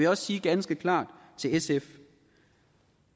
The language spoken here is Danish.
også sige ganske klart til sf